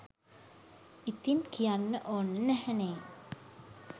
ඉතින් කියන්න ඕන නැහැනෙ.